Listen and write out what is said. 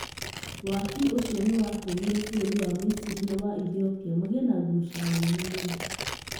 Waki ũcio nĩ watũmire bũrũri wa Miciri na wa Ethiopia magĩe na ngucanio nene mũno.